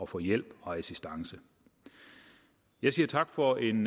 få hjælp og assistance jeg siger tak for en